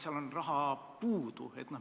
Seal on raha puudu.